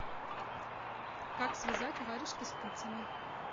как связать варежки спицами